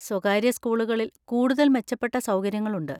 സ്വകാര്യ സ്കൂളുകളിൽ കൂടുതൽ മെച്ചപ്പെട്ട സൗകര്യങ്ങളുണ്ട്.